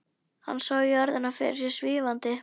Hann sá jörðina fyrir sér svífandi.